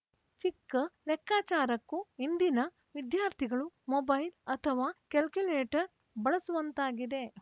ಚಿಕ್ಕ ಲೆಕ್ಕಾಚಾರಕ್ಕೂ ಇಂದಿನ ವಿದ್ಯಾರ್ಥಿಗಳು ಮೊಬೈಲ್‌ ಅಥವಾ ಕಾಲ್ಯುಕುಲೇಟರ್‌ ಬಳಸುವಂತಾಗಿದೆ